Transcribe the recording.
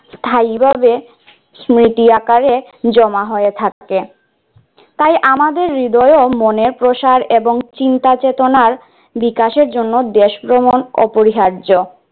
স্থায়ীভাবে স্মৃতি আকারে জমা হয়ে থাকে তাই আমাদের হৃদয়ও মনে প্রসার এবং চিন্তা চেতনা বিকাশের জন্য দেশ ভ্রমণ অপরিহার্য।